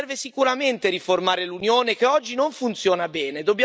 Serve sicuramente riformare l'Unione che oggi non funziona bene.